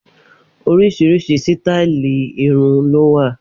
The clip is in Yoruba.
Oríṣiríṣi sítáálì irun ló wà.